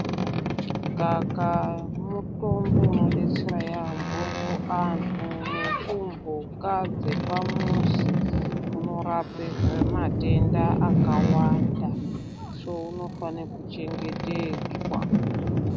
Ngaka mutombo unodetsera yambo kuanhu nekumbuka kumuzi kunorapa matenda akawanda Unifana kuchengetedzwa.